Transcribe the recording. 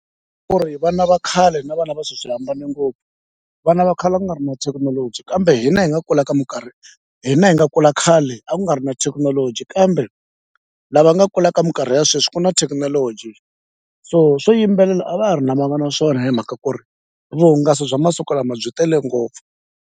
Ku ri vana va khale na vana va sweswi swi hambane ngopfu vana va khale a ku nga ri na thekinoloji kambe hina hi nga kula ka minkarhi hina hi nga kula khale a ku nga ri na thekinoloji kambe lava nga kula ka minkarhi ya sweswi ku na thekinoloji so swo yimbelela a va ha ri na naswona hi mhaka ku ri vuhungasi bya masiku lama byi tele ngopfu.